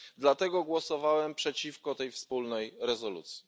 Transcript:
Dlatego głosowałem przeciwko tej wspólnej rezolucji.